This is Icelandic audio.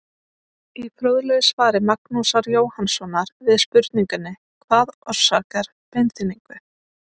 Í fróðlegu svari Magnúsar Jóhannssonar við spurningunni Hvað orsakar beinþynningu?